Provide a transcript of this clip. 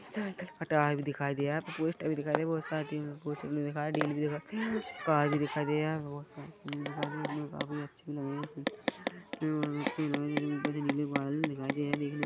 ये यहाँ इधर पोस्टर भी दिखाई दिया बहुत सारी भी दिखाई भी दिखाई दिया कार भी दिखाई दिया बहुत सारी ऊपर से नीले बादल भी दिखाई दे रही है दिखने में --